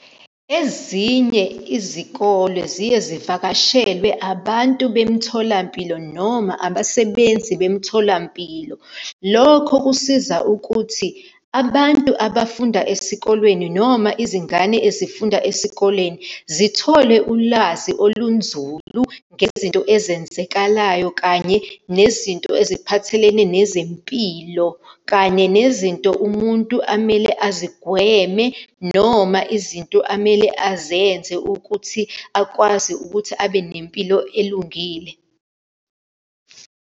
Ezinye izikole ziye zivakashelwe abantu bemitholampilo, noma abasebenzi bemitholampilo. Lokho kusiza ukuthi abantu abafunda esikolweni, noma izingane ezifunda esikoleni, zithole ulwazi olunzulu ngezinto ezenzekalayo, kanye nezinto eziphathelene nezempilo, kanye nezinto umuntu amele azigweme, noma izinto amele azenze ukuthi akwazi ukuthi abe nempilo elungile.